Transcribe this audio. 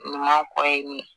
Ɲuman kɔ ye nin ye